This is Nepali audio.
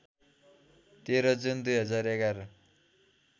१३ जुन २०११